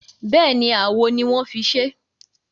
Bẹ́ẹ̀ni, awo ni wọ́n fi ṣé.